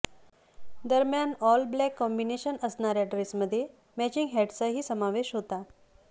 दरम्यान all black combination असणाऱ्या ड्रेसमध्ये मॅचिंग हॅटचाही समावेश होता